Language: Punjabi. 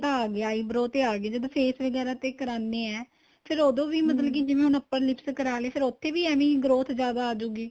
ਆ ਗਿਆ eyebrow ਤੇ ਆ ਗਿਆ ਜਦੋਂ face ਵਗੈਰਾ ਤੇ ਕਰਾਨੇ ਏ ਫ਼ੇਰ ਮਤਲਬ ਕੀ ਜਿਵੇਂ ਹੁਣ upper lips ਕਰਾਲੇ ਫ਼ੇਰ ਉਥੇ ਵੀ ਐਵੇ growth ਜਿਆਦਾ ਆਜੁਗੀ